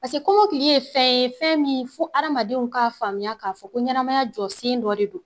Paseke komokili ye fɛn ye fɛn min fo hadamadenw k'a faamuya k'a fɔ ko ɲɛnamaya jɔsen dɔ de don.